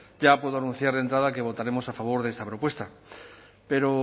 ya puedo anunciar de entrada que votaremos a favor de esta propuesta pero